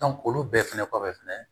olu bɛɛ fɛnɛ kɔfɛ fɛnɛ